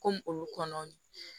Komi olu kɔnɔ